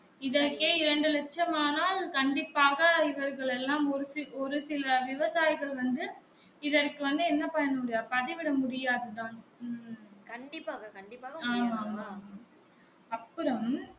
இதற்கே இரண்டு இலட்சம் ஆனால் கண்டிப்பாக இவர்கள் எல்லாம் ஒரு சில ஒரு சில விவசாயிகள் வந்து இதற்கு வந்து என்ன பண்ண முடியும் பதிவிட முடியாது தான் ம்ம்ம் ஆமாம் ஆமாம் அப்புறம்